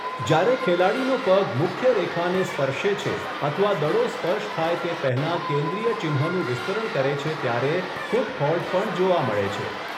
જ્યારે ખેલાડીનો પગ મુખ્યરેખાને સ્પર્શે છે અથવા દડો સ્પર્શ થાય તે પહેલાં કેન્દ્રીય ચિહ્નનું વિસ્તરણ કરે છે ત્યારે 'ફૂટ ફોલ્ટ' પણ જોવા મળે છે.